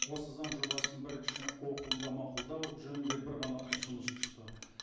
осы заң жобасын бірінші оқылымда мақұлдау жөнінде бір ғана ұсыныс түсті